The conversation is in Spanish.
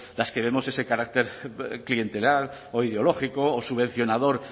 las que vemos ese carácter clientelar o ideológico o subvencionador